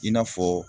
I n'a fɔ